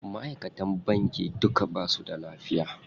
Maʼaikatan banki duka basu da lafiya.